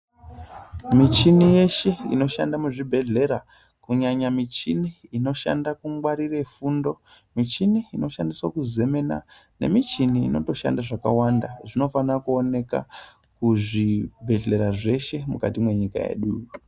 Michini yeshe inoshanda muzvibhedlera kunyanya michini inoshanda kungwarire fundo, michini inoshandiswa kuzemena nemichini inotoshanda zvakawanda, zvinofana kuwoneka kuzvibhedlera zveshe mukati menyika yedu.